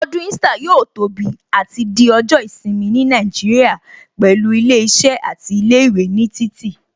Ọdún Easter yóò tóbi àti di ọjọ́ ìsinmi ní Nàìjíríà pẹ̀lú ilé iṣẹ́ àti ilé ìwé ní títì